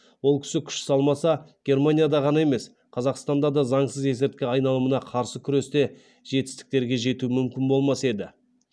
ол кісі күш салмаса германияда ғана емес қазақстанда да заңсыз есірткі айналымына қарсы күресте жетістіктерге жету мүмкін болмас еді